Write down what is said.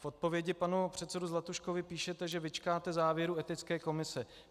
V odpovědi panu předsedovi Zlatuškovi píšete, že vyčkáte závěrů etické komise.